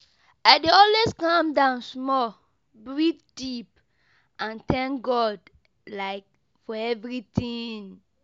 I dey always calm down small, breathe deep and thank God for everything.